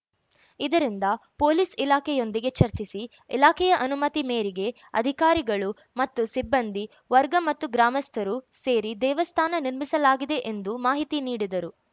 ಇದರಿಂದ ಪೊಲೀಸ್‌ ಇಲಾಖೆಯೊಂದಿಗೆ ಚರ್ಚಿಸಿ ಇಲಾಖೆಯೇ ಅನುಮತಿ ಮೇರೆಗೆ ಅಧಿಕಾರಿಗಳು ಮತ್ತು ಸಿಬ್ಬಂದಿ ವರ್ಗ ಮತ್ತು ಗ್ರಾಮಸ್ಥರು ಸೇರಿ ದೇವಸ್ಥಾನ ನಿರ್ಮಿಸಲಾಗಿದೆ ಎಂದು ಮಾಹಿತಿ ನೀಡಿದರು